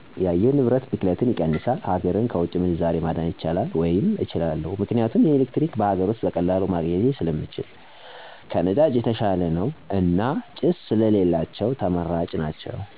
የአየር ንብረት ብክለትን ይቀንሳል፣ ሀገርን ከውጭ ምንዛሬ ማዳን ይቻላል ወይም እችላለሁ። ምክንያቱም ኤሌክትሪክ በሀገር ውስጥ በቀላሉ ማግኜት ስለምንችል ከነዳጅ የተሻለ ነው። እና ጭስ ስለሌላቸው ተመራጭ ናቸው።